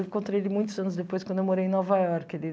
Eu encontrei ele muitos anos depois, quando eu morei em Nova Iorque ali